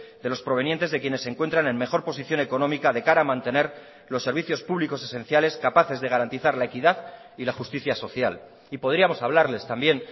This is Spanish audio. de los provenientes de quienes se encuentran en mejor posición económica de cara a mantener los servicios públicos esenciales capaces de garantizar la equidad y la justicia social y podríamos hablarles también